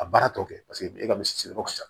A baara tɔ kɛ paseke e ka misi yɔrɔ ka ca